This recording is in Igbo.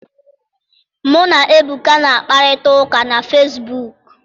Mụ na Ebuka na-akparịta ụka na fesibuuku.